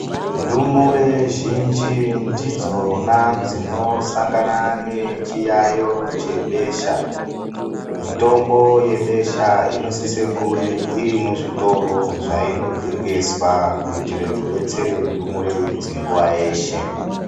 Ndumure zhinji ndidzona dzinosangana nechiyayo chebesha. Mitombo yebesha, inosise kuwe irimuzvitoro zvayinotengeswa, kuyitire kudetsere ndumure idzi nguwa yeshe.